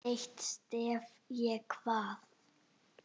Eitt stef ég kvað.